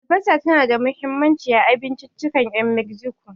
Albasa tana da mahimmanci a abinciccikan 'yan Mexico.